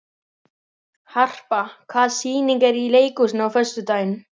Engin ástæða til að gera veður út af því.